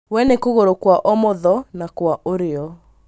We nĩ kũgũrũ kwa ũmotho na kwa ũrĩo.